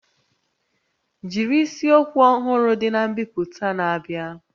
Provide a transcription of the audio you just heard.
Jiri isiokwu ọhụrụ dị na mbipụta na-abịa